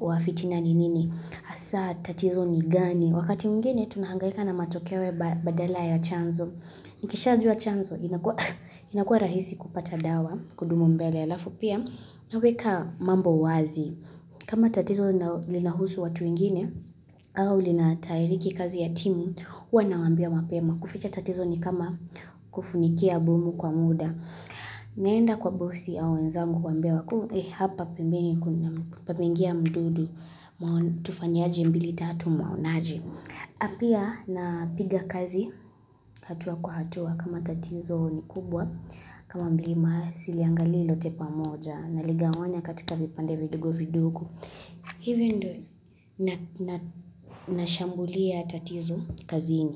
wa fitina ni nini. Hasa tatizo ni gani. Wakati mwingine, tunahangalika na matokeo badala ya chanzo. Nikishajua chanzo, inakuwa rahisi kupata dawa, kudumu mbele. Alafu pia, naweka mambo wazi. Kama tatizo linahusu watu wengine, au linatahiriki kazi ya timu, huwa nawaambia mapema. Kuficha tatizo ni kama kufunikia bomu kwa muda. Naenda kwa bosi au wenzangu kuwaambia, hapa pembeni pameingia mdudu, tufanyaje mbili tatu mwaonaje. Na pia napiga kazi, hatua kwa hatua, kama tatizo ni kubwa, kama mlima, siliangali lote pamoja, naligawanya katika vipande vidogo-vidogo. Hivyo ndiyo, nashambulia tatizo kazini.